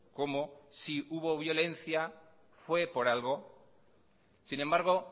cómo que si hubo violencia fue por algo sin embargo